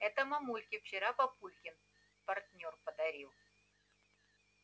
это мамульке вчера папулькин партнёр подарил